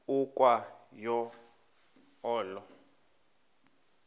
ukwa yo olo